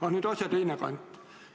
Aga nüüd asja teine külg.